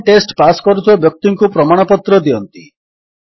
online test pass କରୁଥିବା ବ୍ୟକ୍ତିଙ୍କୁ ପ୍ରମାଣପତ୍ର ଦିଅନ୍ତି